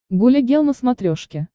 гуля гел на смотрешке